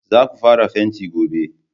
Za ku fara fenti gobe!